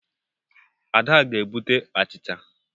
Ada ga-ebute achicha.